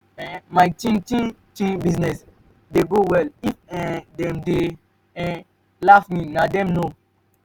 um my chin chin chin business dey go well if um dem dey um laugh me na dem know.